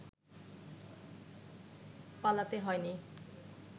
পালাতে হয়নি